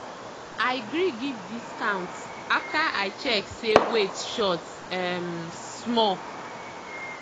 i gree give discount after i check say weight short um small.